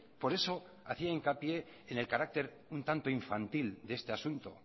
por eso hacía hincapié en el carácter un tanto infantil de este asunto